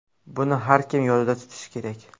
Buni har kim yodida tutishi kerak.